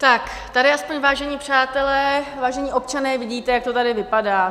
Tak tady aspoň, vážení přátelé, vážení občané, vidíte, jak to tady vypadá.